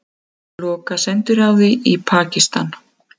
Loka sendiráði í Pakistan